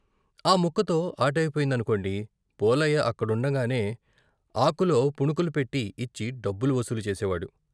ఆ ముక్కతో ఆటయిపోయిందనుకోండి, పోలయ్య అక్కడుండంగానే ఆకులో పుణుకులు పెట్టి ఇచ్చి డబ్బులు వసూలు చేసేవాడు.